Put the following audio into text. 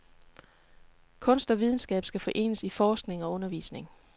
Kunst og videnskab skal forenes i forskning og undervisning.